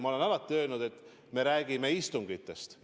Ma olen alati öelnud, et me räägime istungitest.